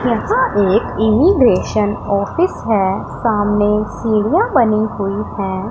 यहाँ एक immigration office हैं। सामने सीढ़ियाँ बनी हुई हैं।